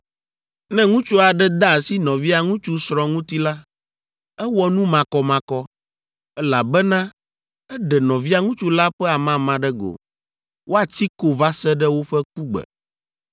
“ ‘Ne ŋutsu aɖe de asi nɔvia ŋutsu srɔ̃ ŋuti la, ewɔ nu makɔmakɔ, elabena eɖe nɔvia ŋutsu la ƒe amama ɖe go. Woatsi ko va se ɖe woƒe kugbe.